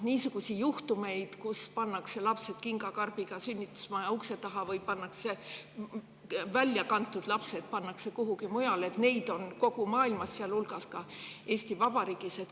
Niisuguseid juhtumeid, kus laps on pandud kingakarbiga sünnitusmaja ukse taha või kuhugi mujale, on kogu maailmas, sealhulgas ka Eesti Vabariigis.